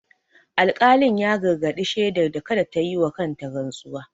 Alƙalin ya gargadi shedar da kada ta yi wa kanta rantsuwa.